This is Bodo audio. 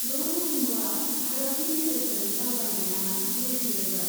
द नभेम्बराव, भारतनि गेजेरजों दावबायनाया जुरिफिनदोंमोन।